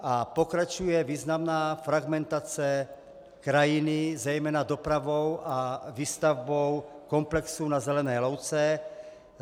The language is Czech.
A pokračuje významná fragmentace krajiny zejména dopravou a výstavbou komplexů na zelené louce.